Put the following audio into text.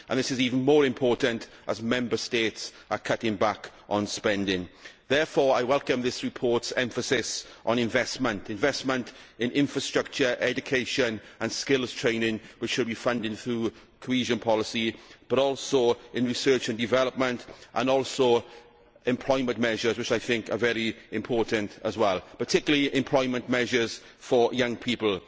This is even more important as Member States are cutting back on spending. Therefore, I welcome this report's emphasis on investment investment in infrastructure, education and skills training, which should be funded through cohesion policy, as well as in research and development and employment measures, which are also very important particularly employment measures for young people.